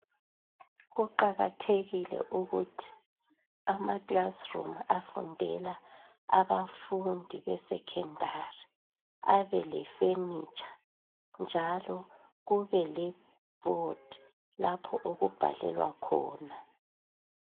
Kuqakathekile ukuthi amaclassroom afundela abafundi besekhendari abelefenitsha njalo kubele board lapho okubhalelwa khona.